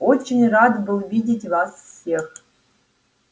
очень рад был видеть вас всех